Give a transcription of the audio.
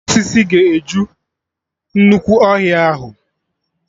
Ụkwụ osisi ga-eju nnukwu ọhịa ahụ